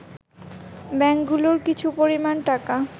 ব্যাংকগুলোর কিছু পরিমাণ টাকা